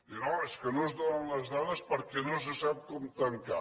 dir no és que no es donen les dades perquè no se sap com tancar